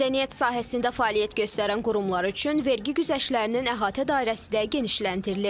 Mədəniyyət sahəsində fəaliyyət göstərən qurumlar üçün vergi güzəştlərinin əhatə dairəsi də genişləndirilib.